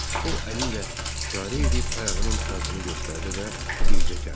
O əli ilə işarə eləyib ayağının altını göstərdi və bircə kəlmə.